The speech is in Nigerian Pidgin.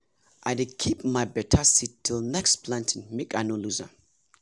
i dey keep my better seed till next planting make ino lose m